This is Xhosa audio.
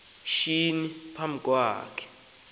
shinyi phambi kwakhe